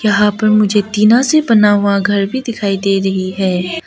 यहां पर मुझे टीना से बना हुआ घर भी दिखाई दे रही है।